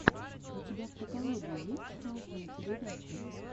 у тебя в каталоге есть классные передачи